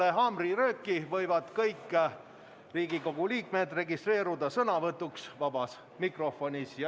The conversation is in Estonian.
Peale haamrilööki võivad kõik Riigikogu liikmed registreeruda sõnavõtuks vabas mikrofonis.